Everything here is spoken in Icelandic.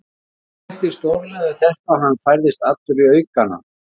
Honum létti stórlega við þetta og hann færðist allur í aukana.